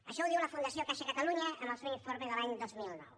això ho diu la fundació caixa catalunya en el seu informe de l’any dos mil nou